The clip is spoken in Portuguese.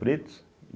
Preto.